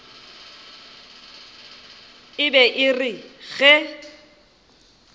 e be e re ge